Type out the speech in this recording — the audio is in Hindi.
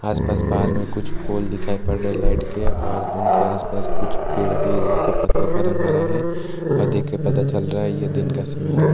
आसपास बाहर में कुछ पोल दिखाई पड़ रहे है लाइट के और उनके आसपास कुछ पेड़ भी है जिनके पत्तों का रंग हरा है और देख के पता चल रहा है ये दिन का समय है ।